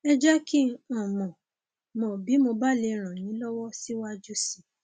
ẹ jẹ kí n unmọ bí mo bá lè ràn yín lọwọ síwájú sí i